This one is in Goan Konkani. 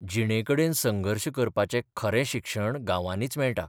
जिणेकडेन संघर्श करपाचें खरें शिक्षण गांवांनीच मेळटा.